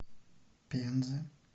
пензы